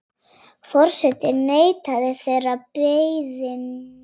Forseti neitaði þeirri beiðni.